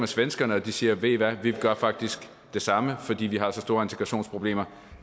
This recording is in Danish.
svenskerne siger ved i hvad vi gør faktisk det samme fordi vi har så store integrationsproblemer